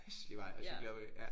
Hæslig vej at cykle opad ja